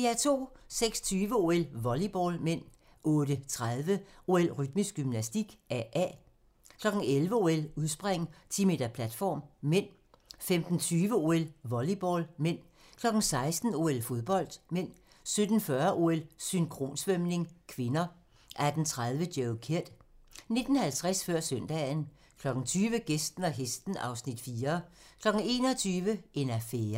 06:20: OL: Volleyball (m) 08:30: OL: Rytmisk gymnastik, AA 11:00: OL: Udspring, 10 m platform (m) 15:20: OL: Volleyball (m) 16:00: OL: Fodbold (m) 17:40: OL: Synkronsvømning (k) 18:30: Joe Kidd 19:50: Før søndagen 20:00: Gæsten og hesten (Afs. 4) 21:00: En affære